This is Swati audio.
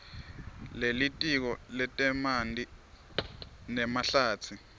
lelitiko letemanti nemahlatsi